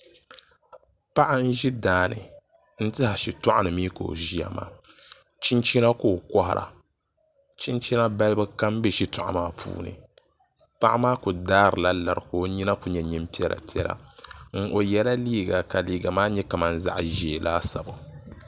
Paɣa n ʒi daani n tiɛha shitoɣu ni mii ka o ʒiya maa chinchina ka o kohara chinchina balibu kam bɛ shitoɣu maa puuni paɣa maa ku daari la lari ka o nyina ku nyɛ nyin piɛla piɛla o yɛla liiga ka liiga ku nyɛ kamani zaɣ ʒiɛ laasabu